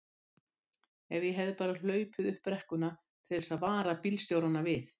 Ef ég hefði bara hlaupið upp brekkuna til þess að vara bílstjórana við!